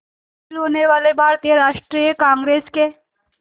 शामिल होने वाले भारतीय राष्ट्रीय कांग्रेस के